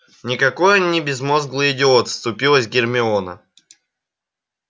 никакой он не безмозглый идиот вступилась гермиона